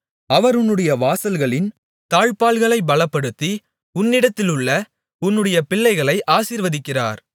அவர் உன்னுடைய வாசல்களின் தாழ்ப்பாள்களைப் பலப்படுத்தி உன்னிடத்திலுள்ள உன்னுடைய பிள்ளைகளை ஆசீர்வதிக்கிறார்